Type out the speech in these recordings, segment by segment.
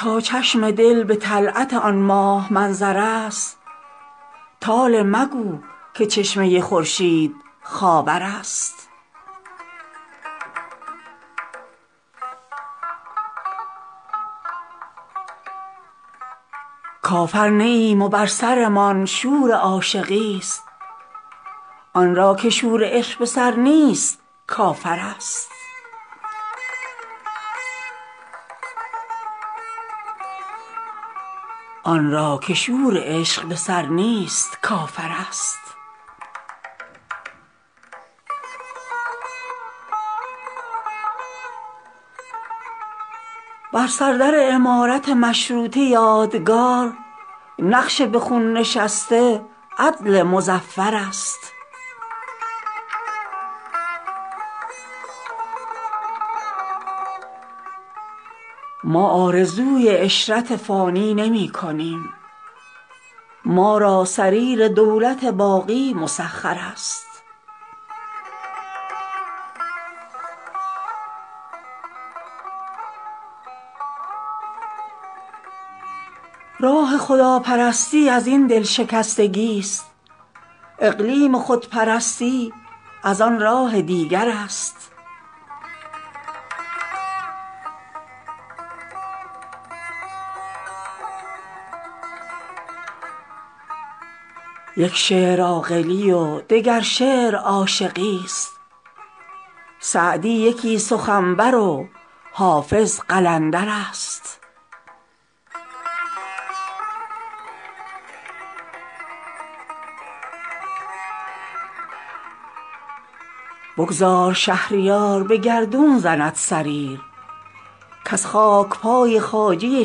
تا چشم دل به طلعت آن ماه منظر است طالع مگو که چشمه خورشید خاور است کافر نه ایم و بر سرمان شور عاشقی است آنرا که شور عشق به سر نیست کافر است آتش مزن به خرمن دل ها که تخت جم آیینه شکسته بخت سکندر است بر سردر عمارت مشروطه یادگار نقش به خون نشسته عدل مظفر است هرجا که دل شکستگی و دود آه بود گر عیش شحنه آینه باشد مکدر است کیفر مده به کافر عشق ای صنم که کفر با کافر از ندامت کوبنده کیفر است ما آرزوی عشرت فانی نمی کنیم ما را سریر دولت باقی مسخر است راه دیار مشرق و مغرب ز هم جداست عاشق از این وری و منافق از آن ور است راه خداپرستی ازین دلشکستگی است اقلیم خودپرستی از آن راه دیگر است بگذر ز دشمنان که به محشر شود عیان کاسباب ارتقای ستمکش ستمگر است در کفه ترازوی حکمت بود نصیب تا فرقدان مراتب رزق مقدر است آنجا که دل به قیمت پستان نمی خرند پستانک ار نه دایه بود دایه مادر است یک شعر عاقلی و دگر شعر عاشقی است سعدی یکی سخنور و حافظ قلندر است بگذار شهریار به گردون زند سریر کز خاک پای خواجه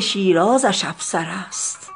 شیرازش افسر است